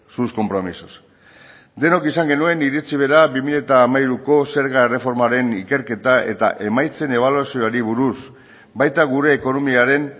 sus compromisos denok izan genuen iritzi bera bi mila hamairuko zerga erreformaren ikerketa eta emaitzen ebaluazioari buruz baita gure ekonomiaren